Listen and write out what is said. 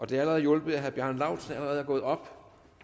det har allerede hjulpet herre bjarne laustsen er er gået op